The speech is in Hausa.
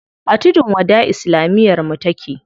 A tudun wada islamiyar mu take.